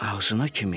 Ağzına kimi?